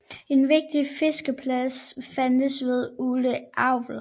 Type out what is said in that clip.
En vigtig fiskeplads fandtes ved Ule älv